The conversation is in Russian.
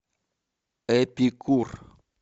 эпикур